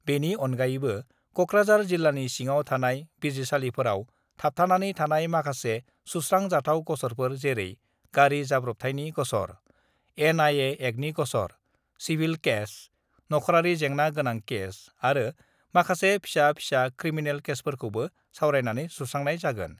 बेनि अनगायैबो कक्राझार जिल्लानि सिङाव थानाय बिजिरसालिफोराव थाबथानानै थानाय माखासे सुस्रां जाथाव गसरफोर जेरै गारि जाब्रबथायनि गसर, एनआएि एक्टनि गसर, सिभिल केस, नख'रारि जेंना गोनां केस आरो माखासे फिसा-फिसा क्रिमिनेल केसफोरखौबो सावरायनानै सुस्रांनाय जागोन।